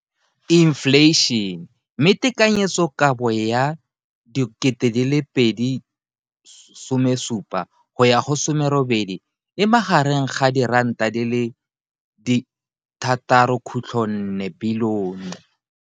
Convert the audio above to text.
Infleišene, mme tekanyetsokabo ya 2017, 18, e magareng ga R6.4 bilione.